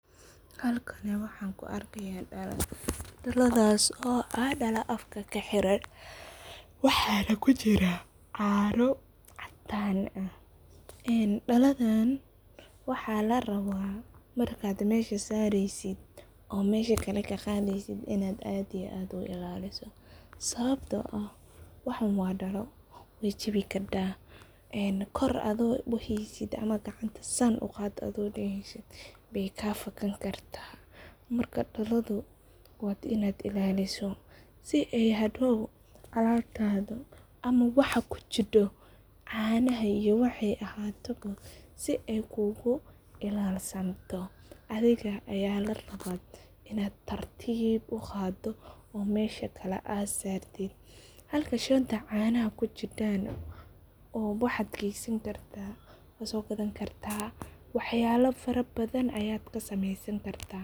Halkani waxan kuu arkaya dalo, daladas oo ah dalo afka kaxiran waxaa nah kujira canoo cadan ah, daladan waxaa laraba marka aad mesha sareysid oo mesha kale kaqadeysit ina aad iyo aad uilaliso, sababto ah waxan waa dalo way jabi kada, kor adhigo uhaysid, ama gacanta san uqad adhigo daheysit bay kafakani karta, marka daladu waa inad ilaliso, sii ay hadow alabtada ama waxa kujido canaha iyo wixi aay ahato bo sii aay kugu ilalsanto, adhiga aya laraba inad tartib uqado oo mesha kale aad sartit, halka shanta canaha kujidan oo waxad gesani karta wad sogadani karta waxyabo fara badhan ayad kasameysani karta.